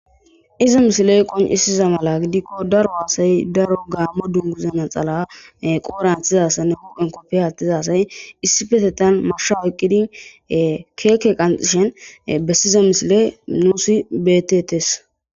iza misiley qoncisiza mala gidikko daro haasay daro gaammo dunguzana xala qooranthizassa ne huphen kopfe haattizasay issi fetetan marshaw eqqidi keeke qanxishen bessiza misile nuusi betetes